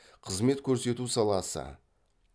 қызмет көрсету саласы